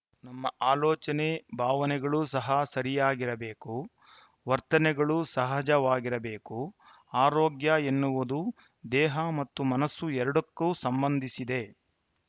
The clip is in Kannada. ನಮ್ಮ ಆಲೋಚನೆ ಭಾವನೆಗಳೂ ಸಹ ಸರಿಯಾಗಿರಬೇಕು ವರ್ತನೆಗಳು ಸಹಜವಾಗಿರಬೇಕು ಆರೋಗ್ಯ ಎನ್ನುವುದು ದೇಹ ಮತ್ತು ಮನಸ್ಸು ಎರಡಕ್ಕೂ ಸಂಬಂಧಿಸಿದೆ